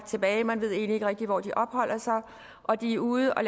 tilbage man ved egentlig ikke rigtig hvor de opholder sig og de er ude og